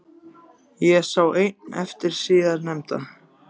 Ég sé enn eftir því síðar nefnda.